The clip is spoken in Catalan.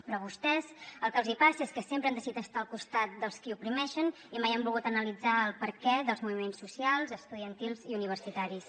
però a vostès el que els passa és que sempre han decidit estar al costat dels qui oprimeixen i mai han volgut analitzar el perquè dels moviments socials estudiantils i universitaris